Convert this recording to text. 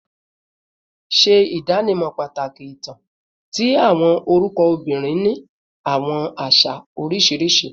Ṣe idanimọ pataki itan ti awọn orukọ obinrin ni awọn aṣa oriṣiriṣi